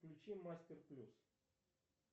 включи мастер плюс